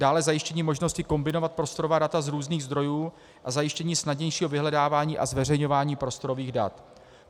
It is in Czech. Dále zajištění možnosti kombinovat prostorová data z různých zdrojů a zajištění snadnějšího vyhledávání a zveřejňování prostorových dat.